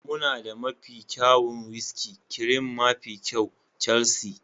muna da mafi kyawun whiskey, cream mafi kyau, Chelsea,